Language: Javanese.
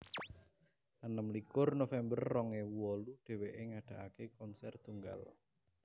enem likur november rong ewu wolu dheweké ngadakaké konser tunggal